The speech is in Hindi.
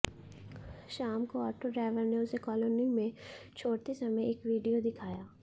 शाम को ऑटो ड्राइवर ने उसे कॉलोनी में छोड़ते समय एक विडियो दिखाया